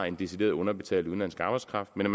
en decideret underbetalt udenlandsk arbejdskraft men at